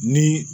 Ni